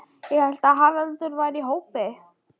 Ég hélt að Haraldur væri í hópi